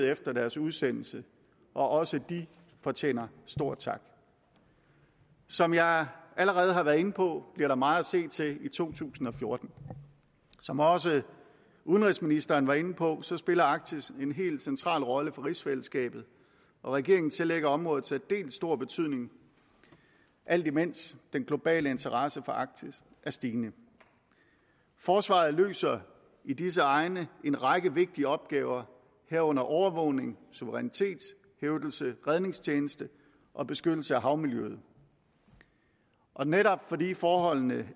efter deres udsendelse og også de fortjener stor tak som jeg allerede har været inde på bliver der meget at se til i to tusind og fjorten som også udenrigsministeren var inde på spiller arktis en helt central rolle for rigsfællesskabet og regeringen tillægger området særdeles stor betydning alt imens den globale interesse for arktis er stigende forsvaret løser i disse egne en række vigtige opgaver herunder overvågning suverænitetshævdelse redningstjeneste og beskyttelse af havmiljøet og netop fordi forholdene